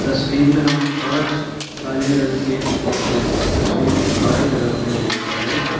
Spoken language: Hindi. तस्वीर में हम पांच काले रंग के कुर्सियां तस्वीर के बाई तरफ में देखते है।